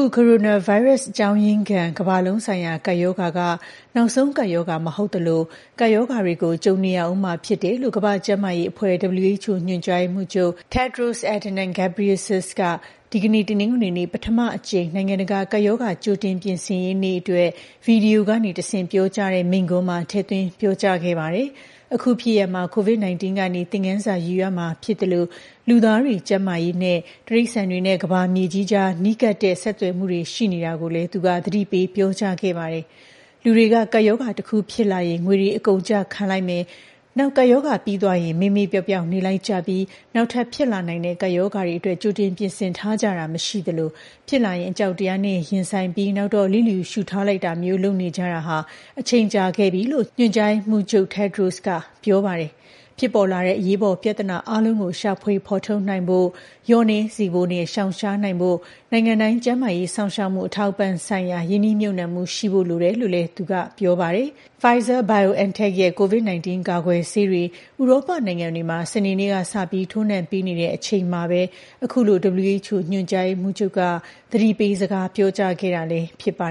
ု ကိုရိုနာဗိုင်းရပ်စ် အကြောင်းရင်းခံ ကမ္ဘာလုံးဆိုင်ရာ ကပ်ရောဂါက နောက်ဆုံးကပ်ရောဂါ မဟုတ်သလို ကပ်ရောဂါတွေကို ကြုံနေရဦးမှာ ဖြစ်တယ်လို့ ကမ္ဘာ့ကျန်းမာရေးအဖွဲ့ (WHO) ညွှန်ကြားရေးမှူးချုပ် Tedros Adhanom Ghebreyesus က ဒီကနေ့ တနင်္ဂနွေနေ့ ပထမအကြိမ် နိုင်ငံတကာ ကပ်ရောဂါ ကြိုတင်ပြင်ဆင်ရေးနေ့အတွက် ဗွီဒီယိုကနေတဆင့် ပြောကြားတဲ့ မိန့်ခွန်းမှာ ထည့်သွင်းပြောကြားခဲ့ပါတယ်။ အခုဖြစ်ရပ်မှာ COVID-19 ကနေ သင်ခန်းစာယူရမှာဖြစ်သလို လူသားတွေ ကျန်းမာရေးနဲ့ တိရစ္ဆာန်တွေနဲ့ ကမ္ဘာမြေကြီးကြား နီးကပ်တဲ့ ဆက်သွယ်မှုတွေ ရှိနေတာကိုလည်း သူက သတိပေးပြောကြားခဲ့ပါတယ်။ “လူတွေက ကပ်ရောဂါတခု ဖြစ်လာရင် ငွေတွေ အကုန်ကျခံလိုက်မယ်။ နောက် ကပ်ရောဂါပြီးသွားရင် မေ့မေ့ပျောက်ပျောက် နေလိုက်ကြပြီး နောက်ထပ်ဖြစ်လာနိုင်တဲ့ ကပ်ရောဂါတွေအတွက် ကြိုပြီး ပြင်ဆင်ထားတာ မရှိကြသလို ဖြစ်လာရင် အကြောက်တရားနဲ့ ရင်ဆိုင်ပြီး နောက်တော့ လျစ်လျူရှုထားလိုက်ကြတာမျိုး လုပ်နေကြတာ အချိန်ကြာခဲ့ပြီ” လို့ ညွှန်ကြားရေးမှူးချုပ် Tedros က ပြောပါတယ်။ ဖြစ်ပေါ်လာတဲ့ အရေးပေါ်ပြဿနာ အားလုံးကို ရှာဖွေဖော်ထုတ်နိုင်ဖို့နဲ့ လျော့နည်းစေဖို့နဲ့ ရှောင်ရှားနိုင်ဖို့၊ နိုင်ငံတိုင်း ကျန်းမာရေးစောင့်ရှောက်မှု အထောက်အပံ့ဆိုင်ရာ ရင်းနှီးမြှုပ်နှံမှုရှိဖို့ လိုတယ်လို့လည်း သူက ပြောပါတယ်။ Pfizer-BioNTech ရဲ့ COVID-19 ကာကွယ်ဆေးတွေ ဥရောပနိုင်ငံတွေမှာ စနေနေ့ကစပြီး ထိုးနှံပေးနေတဲ့ အချိန်မှာပဲ အခုလို WHO ညွှန်ကြားရေးမှူးချုပ်က သတိပေးစကား ပြောကြားခဲ့တာလည်း ဖြစ်ပါ